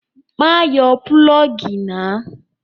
Má yọ pulọ́ọ́gì náà!